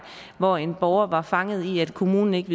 hvor en borger var fanget i at kommunen ikke